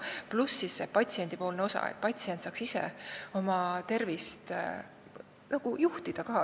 Pluss see, et patsient saaks ka ise oma tervist juhtida.